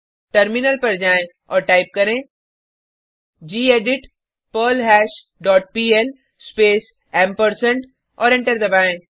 terminal पर जाएँ और टाइप करें gedit perl hash dot PL space और एंटर दबाएँ